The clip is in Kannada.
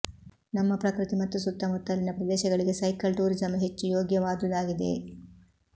ನಮ್ಮ ಪ್ರಕೃತಿ ಮತ್ತು ಸುತ್ತುಮುತ್ತಲಿನ ಪ್ರದೇಶಗಳಿಗೆ ಸೈಕಲ್ ಟೂರಿಸಂ ಹೆಚ್ಚು ಯೋಗ್ಯವಾದುದಾಗಿದೆ